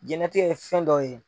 Diɲɛnlatigɛ ye fɛn dɔ ye.